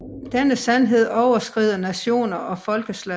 Denne sandhed overskrider nationer og folkeslag